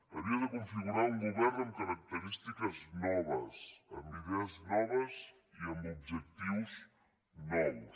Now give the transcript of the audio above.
havia de configurar un govern amb característiques noves amb idees noves i amb objectius nous